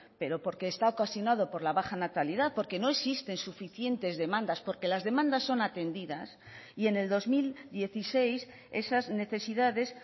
pero porque está ocasionado por la baja natalidad porque no existen suficientes demandas porque las demandas son atendidas y en el dos mil dieciséis esas necesidades